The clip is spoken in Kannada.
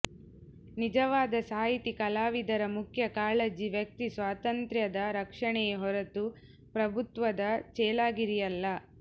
ನಿಜವಾದ ಸಾಹಿತಿ ಕಲಾವಿದರ ಮುಖ್ಯ ಕಾಳಜಿ ವ್ಯಕ್ತಿ ಸ್ವಾತಂತ್ರ್ಯದ ರಕ್ಷಣೆಯೆ ಹೊರತು ಪ್ರಭುತ್ವದ ಚೇಲಾಗಿರಿಯಲ್ಲ